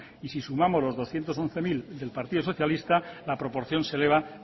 y si sumamos los doscientos once mil del partido socialista la proporción se eleva